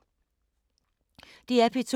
DR P2